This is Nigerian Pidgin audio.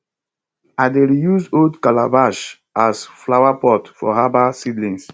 i dey reuse old calabash as flowerpot for herbal seedlings